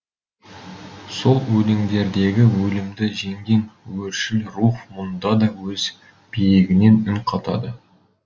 сол өлеңдердегі өлімді жеңген өршіл рух мұнда да өз биігінен үн қатады